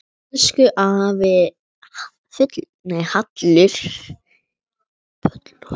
Elsku afi Hallur.